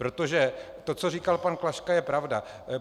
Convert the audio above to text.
Protože to, co říkal pan Klaška, je pravda.